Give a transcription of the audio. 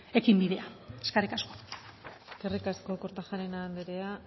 ekinbidea eskerrik asko eskerrik asko kortajarena andrea